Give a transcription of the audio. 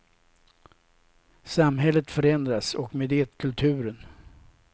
Samhället förändras, och med det kulturen.